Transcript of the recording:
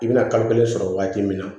I bɛna kalo kelen sɔrɔ waati min na